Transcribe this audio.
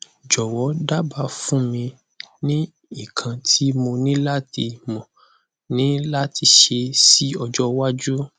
jowo daba fun mi ni ikan ti mo ni lati mo ni lati se si ojo waju